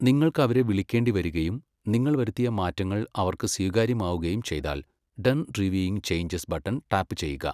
നിങ്ങൾക്ക് അവരെ വിളിക്കേണ്ടി വരികയും നിങ്ങൾ വരുത്തിയ മാറ്റങ്ങൾ അവർക്ക് സ്വീകാര്യമാവുകയും ചെയ്താൽ 'ഡൺ റിവ്യൂയിംഗ് ചേഞ്ചസ്' ബട്ടൺ ടാപ്പുചെയ്യുക.